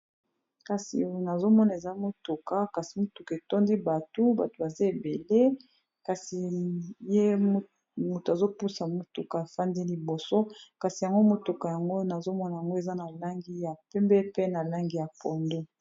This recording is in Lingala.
Kasi oyo nazomona eza motuka kasi motuka etondi batu batu baza ebele kasi ye motu azopusa motuka afandi liboso kasi yango motuka yango nazomona yango eza na langi, ya pembe pe na langi ya pondo.